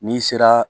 N'i sera